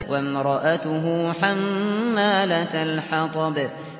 وَامْرَأَتُهُ حَمَّالَةَ الْحَطَبِ